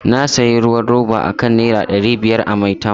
Na sayi ruwan roba akan Naira dari biyar a Maitama.